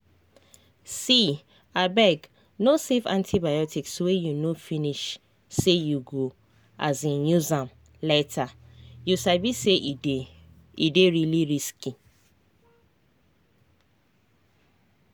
seeabeg no save antibiotics wey you no finish say you go um use am lateryou sabi say e dey really risky.